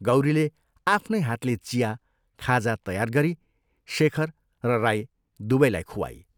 गौरीले आफ्नै हातले चिया, खाजा तयार गरी शेखर र राई दुवैलाई खुवाई।